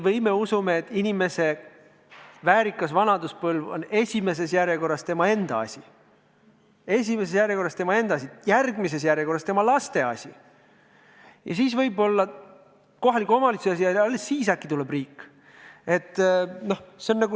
Või me usume, et inimese väärikas vanaduspõlv on esimeses järjekorras tema enda asi, järgmises järjekorras tema laste asi ja siis võib-olla kohaliku omavalitsuse asi ja alles siis äkki tuleb riik?